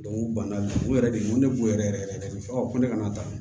u banna u yɛrɛ de ma ko ne b'u yɛrɛ yɛrɛ yɛrɛ yɛrɛ de fɔ ne kana taa